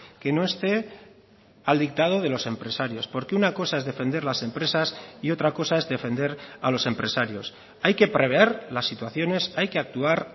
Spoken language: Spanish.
que no esté al dictado de los empresarios porque una cosa es defender las empresas y otra cosa es defender a los empresarios hay que prever las situaciones hay que actuar